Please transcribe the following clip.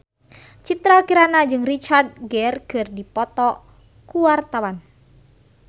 Citra Kirana jeung Richard Gere keur dipoto ku wartawan